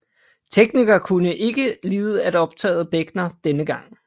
Teknikerne kunne ikke lide at optage bækkener dengang